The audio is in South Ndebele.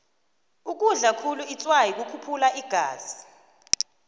ukudlakhulu itswayi kukhuphula igazi